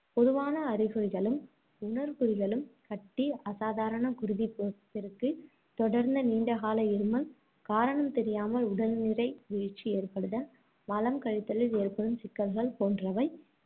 பொதுவான அறிகுறிகளும், உணர்குறிகளும் கட்டி, அசாதரண குருதிப்பெருக்கு, தொடர்ந்த நீண்ட கால இருமல், காரணம் தெரியாமல் உடல்நிறை வீழ்ச்சி ஏற்படுதல், மலம் கழித்தலில் ஏற்படும் சிக்கல்கள் போன்றவை